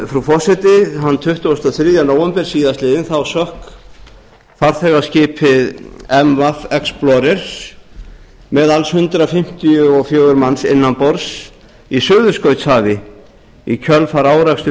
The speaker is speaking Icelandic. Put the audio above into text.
frú forseti þann tuttugasta og þriðja nóvember síðastliðinn sökk farþegaskipið gas explorer með alls hundrað fimmtíu og fjögur manns innan borðs í suðurskautshafi í kjölfar áreksturs